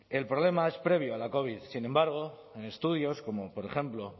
el problema es previo a la covid sin embargo en estudios como por ejemplo